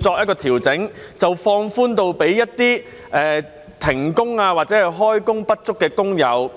調整，把計劃放寬至涵蓋一些停工或開工不足的工友？